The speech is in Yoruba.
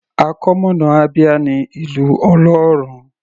Àkọmọ̀nà Abia ní Ìlú Ọlọ́run.